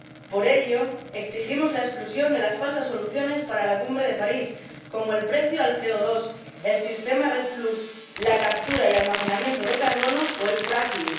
Por ello exigimos la exclusión de falsas soluciones para la cumbre de París como el precio al CO2, el sistema RED plus, la captura y almacenamiento de carbono o el fracking